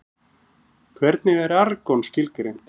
Hvernig er argon skilgreint?